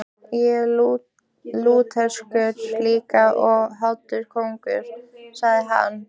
Ég er Lúterskur líka og hollur konungi, sagði hann.